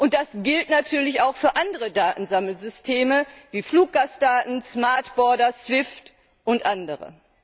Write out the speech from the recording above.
Und das gilt natürlich auch für andere Datensammelsysteme wie Fluggastdaten, Smart Borders, SWIFT und andere.